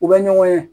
U bɛ ɲɔgɔn ye